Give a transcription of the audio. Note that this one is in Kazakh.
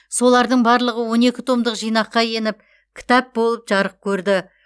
солардың барлығы он екі томдық жинаққа еніп кітап болып жарық көрді